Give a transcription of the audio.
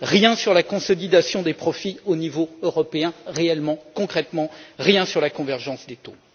Rien sur la consolidation des profits au niveau européen, réellement, concrètement, rien sur la convergence des taux.